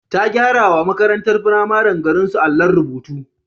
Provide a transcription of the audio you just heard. Ta gyarawa makarantar firamaren garinsu allon rubutu.